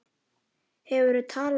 Hefurðu talað við hann?